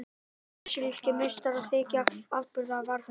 Brasilískir meistarar þykja afburða varðhundar.